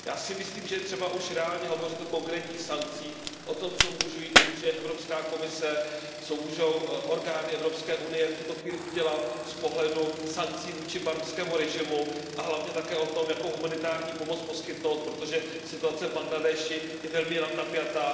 Já si myslím, že je třeba už reálně hovořit o konkrétních sankcích, o tom, co může Evropská komise, co mohou orgány Evropské unie v tuto chvíli udělat z pohledu sankcí vůči barmskému režimu, a hlavně také o tom, jakou humanitární pomoc poskytnout, protože situace v Bangladéši je velmi napjatá.